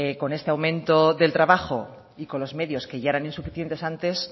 con ese aumento del trabajo y con los medios que ya eran insuficientes antes